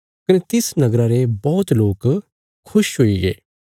कने तिस नगरा रे बौहत लोक खुश हुईगे